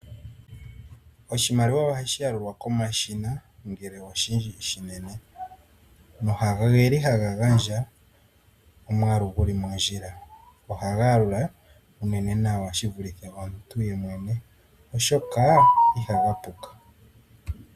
Oshimaliwa oha shi yalulwa koma shina ngele oshili oshinene, go ogeli haga gandja omwaalu guli mondjila. Ohaga yalula unene nawa shivule omuntu ye mwene oshoka ihaga puka.